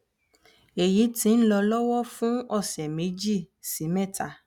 èyí ti ń lọ lọwọ fún ọsẹ méjì sí mẹta